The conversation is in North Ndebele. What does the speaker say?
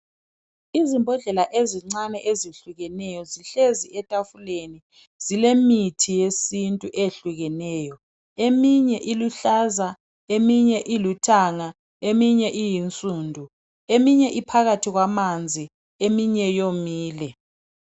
Izimbhodlela ezincane ezehlukeneyo zihlezi etafuleni, zilemithi yesintu eyehlukeneyo. Eminye iluhlaza, eminye ilithanga, eminye iyinsundu, eminye iphakathi kwamanzi, eminye yomile.